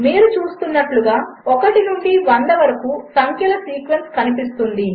మీరుచూస్తున్నట్టుగా 1 నుండి 100 వరకుసంఖ్యలసీక్వెన్స్కనిపిస్తుంది